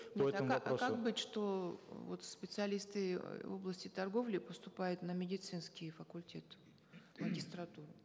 а как быть что вот специалисты в области торговли поступают на медицинский факультет в магистратуру